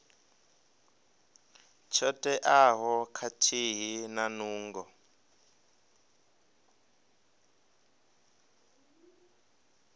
tsho teaho khathihi na nungo